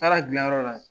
Taara dilanyɔrɔ la